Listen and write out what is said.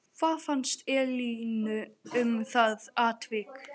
Hvað fannst Elínu um það atvik?